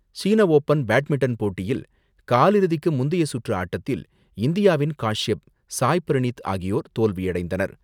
சீன open badminton போட்டியில் காலிறுதிக்கு முந்தைய சுற்று ஆட்டத்தில் இந்தியாவின் காஷியப், சாய் பிரனீத் ஆகியோர் தோல்வியடைந்தனர்.